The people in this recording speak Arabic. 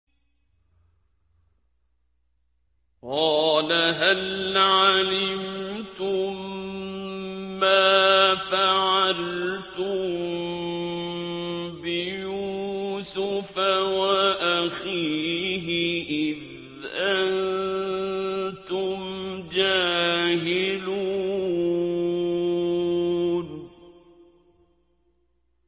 قَالَ هَلْ عَلِمْتُم مَّا فَعَلْتُم بِيُوسُفَ وَأَخِيهِ إِذْ أَنتُمْ جَاهِلُونَ